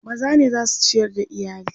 maza ne zasu ciyar da iyali